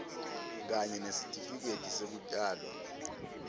kanye nesitifiketi sekutalwa